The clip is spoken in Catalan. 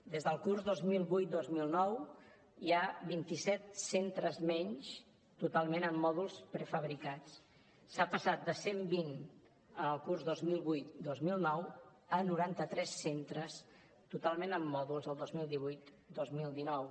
des del curs dos mil vuit dos mil nou hi ha vint i set centres menys totalment amb mòduls prefabricats s’ha passat cent vint en el curs dos mil vuit dos mil nou a noranta tres centres totalment amb mòduls el dos mil divuit dos mil dinou